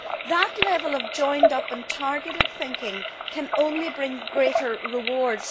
That level of joined up and targeted thinking can only bring greater rewards.